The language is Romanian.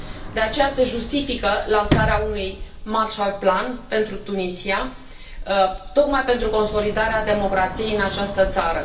De aceea, se justifică lansarea unui Marshall Plan pentru Tunisia, tocmai pentru consolidarea democrației în această țară.